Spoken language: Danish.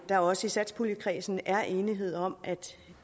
der også i satspuljekredsen er enighed om at